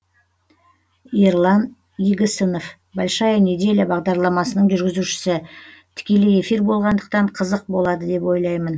ерлан игісінов большая неделя бағдарламасының жүргізушісі тікелей эфир болғандықтан қызық болады деп ойлаймын